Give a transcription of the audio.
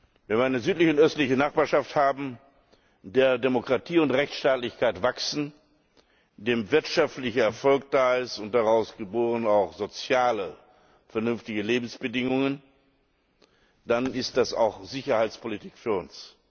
Wenn wir eine südliche und östliche Nachbarschaft haben, in der Demokratie und Rechtstaatlichkeit wachsen, indem wirtschaftlicher Erfolg da ist und daraus geboren auch soziale, vernünftige Lebensbedingungen, dann ist das auch Sicherheitspolitik für uns.